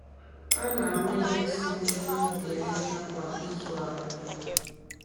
A na-awụnye nsị nsị n’ebe ubi ahịhịa kwa izu abụọ.